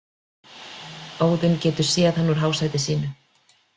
Óðinn getur séð hann úr hásæti sínu.